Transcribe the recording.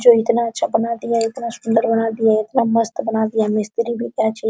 जो इतना अच्छा बना दिया इतना सुन्दर बना दिया इतना मस्त बना दिया मिस्त्री भी क्या ची --